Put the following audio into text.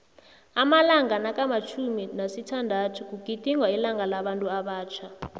amalanga nakamtjhumi nesithandathu kugidingwa ilanga labantuabatjha